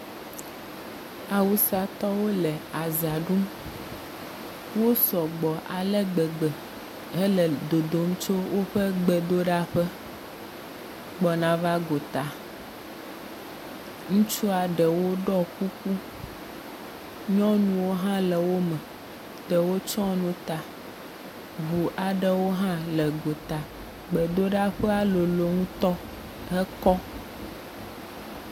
Awusatɔwo le azã ɖum. Wosɔ gbɔ ale gbegbe hele dodom tso woƒe gbedoɖaƒe gbɔna va gota. Ŋutsua ɖewo ɖɔ kuku, nyɔnuwo hã le wo me. Ɖewo tsyɔ nu ta. Ŋu aɖewo hã le gota. Gbedoɖaƒea lolo ŋutɔ, hekɔ.